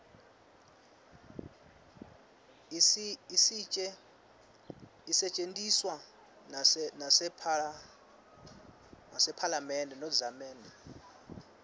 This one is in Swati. isetje ntiswa nasepha zamenbe